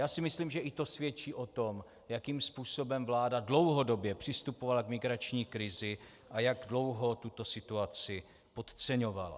Já si myslím, že i to svědčí o tom, jakým způsobem vláda dlouhodobě přistupovala k migrační krizi a jak dlouho tuto situaci podceňovala.